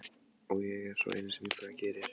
Og ég er sá eini sem það gerir.